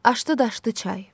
Aşdı daşdı çay.